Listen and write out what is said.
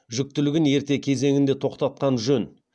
жүктілігін ерте кезеңінде тоқтатқан жөн